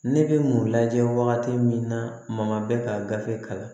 Ne bɛ mun lajɛ wagati min na ma bɛ ka gafe kalan